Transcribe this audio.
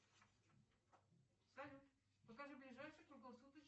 салют покажи ближайший круглосуточный